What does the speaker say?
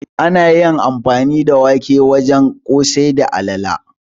Ana amfani da wake wurin yin ƙosai da alala